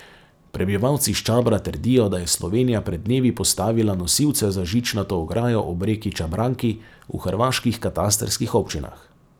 Prebivalci s Čabra trdijo, da je Slovenija pred dnevi postavila nosilce za žičnato ograjo ob reki Čabranki v hrvaških katastrskih občinah.